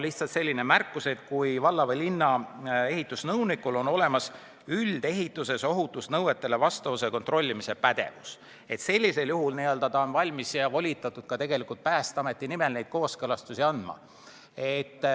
Lähtutakse sellest, et kui valla või linna ehitusnõunikul on üldehituses kehtivatele ohutusnõutele vastavuse kontrollimise pädevus, siis on ta valmis ja volitatud ka Päästeameti nimel neid kooskõlastusi andma.